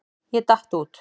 Ég datt út.